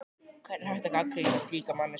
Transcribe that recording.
Hvernig er hægt að gagnrýna slíka manneskju?